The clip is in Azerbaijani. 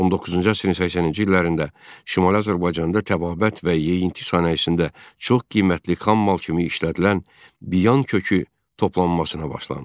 19-cu əsrin 80-ci illərində Şimali Azərbaycanda təbabət və yeyinti sənayesində çox qiymətli xammal kimi işlədilən biyan kökü toplanmasına başlandı.